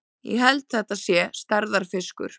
Ég held þetta sé stærðarfiskur!